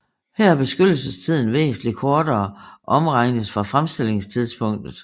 Her er beskyttelsestiden væsentlig kortere om regnes fra fremstillingstidspunktet